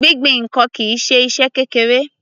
Gbingbin ǹkan kìí ṣe iṣẹ́ kékeré.